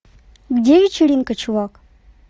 где вечеринка чувак